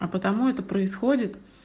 а потому это происходит